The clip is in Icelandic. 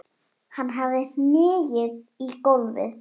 Hann hafði hnigið í gólfið.